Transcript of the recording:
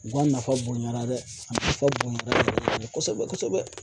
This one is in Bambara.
U ka nafa bonyana dɛ a nafa bonyana yɛrɛ yɛrɛ kosɛbɛ kosɛbɛ